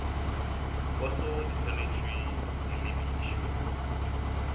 poso di swanetšwe di lebišwe